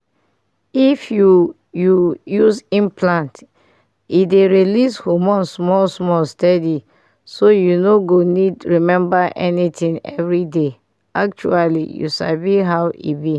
if you you use implant e dey release hormone small-small steady so you no go need remember anything every day. actually you sabi how e be